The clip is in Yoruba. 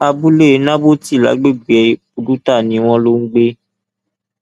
abúlé nábótì lágbègbè buduta ni wọn lọ ń gbé